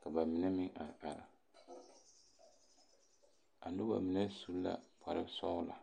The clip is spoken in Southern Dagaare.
Ka ba mine meŋ are are. A noba mine su la kpare sɔgelɔ.